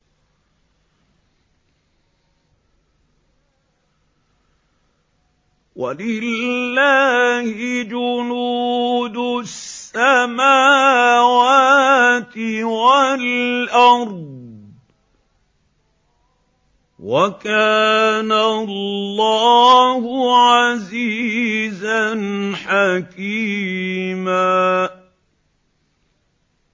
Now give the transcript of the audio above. وَلِلَّهِ جُنُودُ السَّمَاوَاتِ وَالْأَرْضِ ۚ وَكَانَ اللَّهُ عَزِيزًا حَكِيمًا